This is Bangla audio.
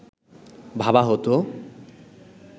ভাবা হতো